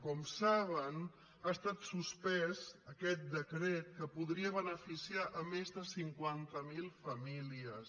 com saben ha estat suspès aquest decret que podria beneficiar més de cinquanta mil famílies